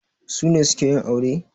Su ne suke yin aure?